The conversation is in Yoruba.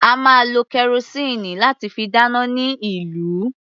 A máa lo kẹrosíìnì láti fi dáná ní ìlú.